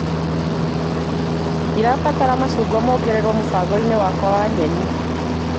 Nĩndĩrabatara macungwa mongererwo mũbango-inĩ wakwa wa nyeni.